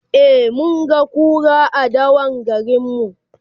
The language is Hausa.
e mun ga kura a dawan garinmu